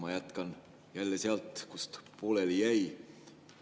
Ma jätkan jälle sealt, kus pooleli jäi.